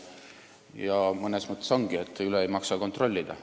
Ja mõnes mõttes ongi nii, et ei maksa üle kontrollida.